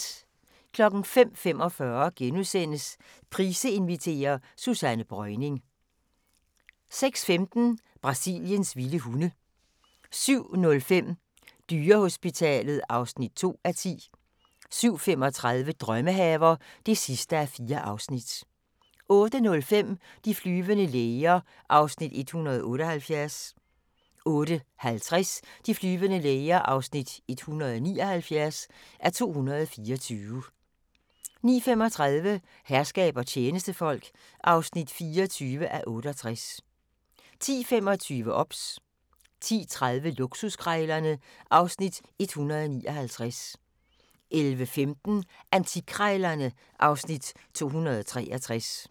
05:45: Price inviterer - Susanne Breuning * 06:15: Brasiliens vilde hunde 07:05: Dyrehospitalet (2:10) 07:35: Drømmehaver (4:4) 08:05: De flyvende læger (178:224) 08:50: De flyvende læger (179:224) 09:35: Herskab og tjenestefolk (24:68) 10:25: OBS 10:30: Luksuskrejlerne (Afs. 159) 11:15: Antikkrejlerne (Afs. 263)